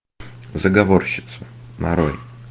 заговорщицы нарой